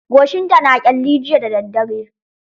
Goshinta na ƙyalli jiya da daddare.